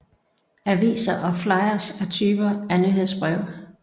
Aviser og flyers er typer af nyhedsbreve